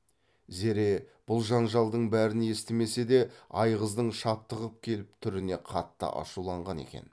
зере бұл жанжалдың бәрін естімесе де айғыздың шаптығып келіп түріне қатты ашуланған екен